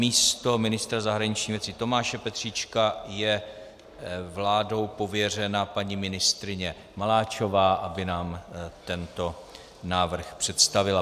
Místo ministra zahraničních věcí Tomáše Petříčka je vládou pověřena paní ministryně Maláčová, aby nám tento návrh představila.